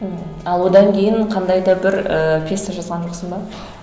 ал одан кейін қандай да бір і пьеса жазған жоқсың ба